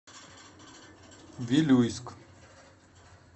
вилюйск